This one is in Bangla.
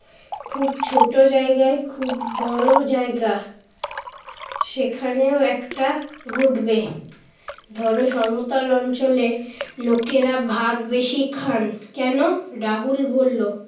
খুব ছোট জায়গায় খুব বড় জায়গা। সেখানেও একটা ঘটবে। ধর সমতল অঞ্চলে লোকেরা ভাত বেশি খান কেন? রাহুল বলল,